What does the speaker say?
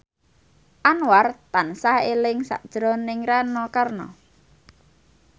Anwar tansah eling sakjroning Rano Karno